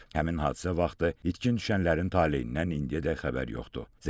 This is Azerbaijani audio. Həmin hadisə vaxtı itkin düşənlərin taleyindən indiyədək xəbər yoxdur.